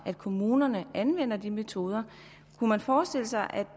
at kommunerne anvender de metoder kunne man forestille sig